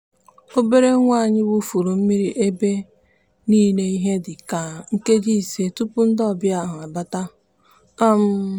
obere nwa anyị wụfuru mmiri ebe niile ihe dịka nkeji ise tụpụ ndị ọbịa ahụ abata. um